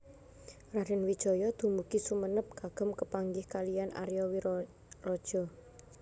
Raden Wijaya dumugi Sumenep kagem kepanggih kaliyan Aria Wiraraja